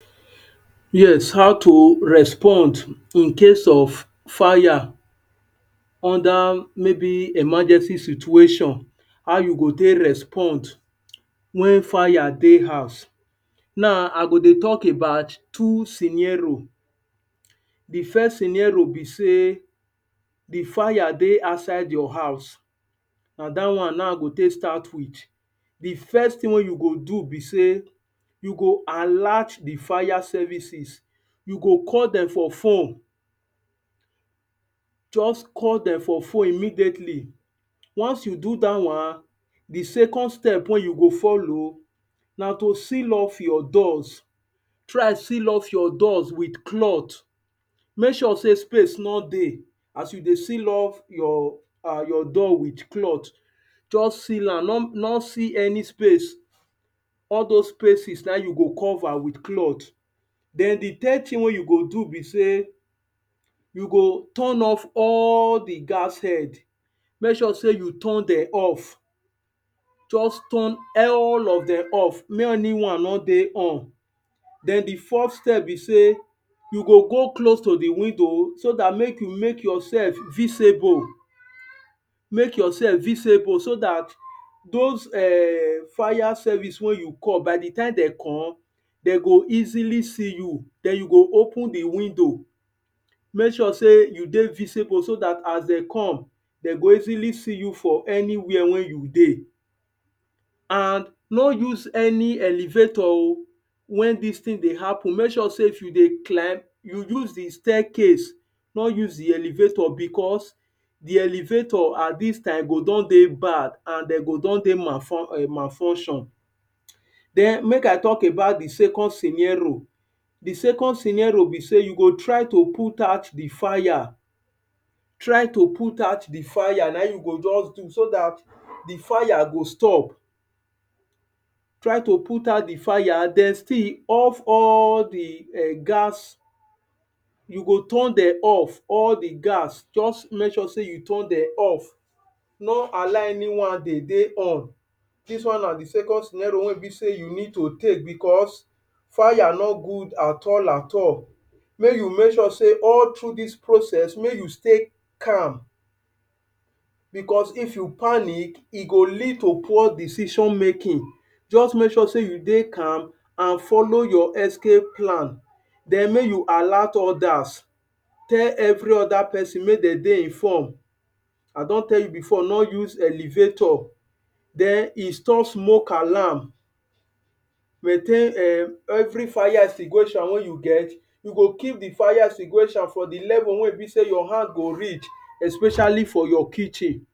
yes, how to respond in case of fire under maybe emergency situation, how you go take respond when fire dey huz. Now, I go dey talk about two scenerio. De first scenario be sey de fire dey outside your huz na dat one now I go first start with. De first thing wey you go do be sey you go alert de fire services, you go call dem for phone just call dem for phone immediately, once you do dat one, de second wey you go follow na to seal off your doors, try seal off your doors with cloth, make sure sey space no dey as you dey seal off your door with cloth, just seal am no no see any space, all those spaces na him you go cover with cloth. Then de third thing wey you go do be sey, you go turn off all de gas head, make sure sey you turn dem off just turn all of dem off, make anyone no dey on. Then de fourth step be sey you go go close to de window so dat make you make yourself visible, make yourself visible so dat those fire service wey you call by de tym dem come, dem go easily see you, then you go open de window, make sure sey you dey visible so dat as dem come, dem go easily see you for anywhere wey you dey and no use any elevator oo when dis thing dey happen, make sure sey if you dey climb, you use de staircase no use de elevator becos de elevator at dis tym go don dey bad and dey go don dey malfunction. Then make I talk about de second scenario, de second scenario be sey you go try to put out de fire, try to put out de fire na him you go just do so dat de fire go stop, try to put out de fire and then still off all de um gas, you go turn dem off all de gas, just make sure sey you turn dem off, no allow anyone de dey on, dis one na de second scenario wey be sey you need to take becos, fire no good at all at all make you make sure sey all through dis process make you stay calm becos if you panic, e go lead to poor decision making, just make sure sey you dey calm and follow your escape plan then make you alert others, tell every other person make dem dey informed. I don tell you before no use elevator then install smoke alarm, maintain um every fire extinguisher wey you get, you go keep de fire extinguisher for de level wey be sey your hand go reach especially for your kitchen.